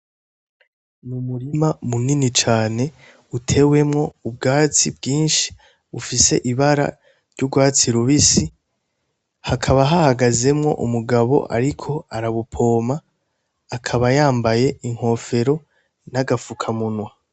N'umurima munini cane, utewemwo ubwatsi bwinshi ufise ibara ry'urwatsi rubisi hakaba hahagazemwo umgabo ariko arabupompa akaba yambaye inkofero n'agafuka munwa.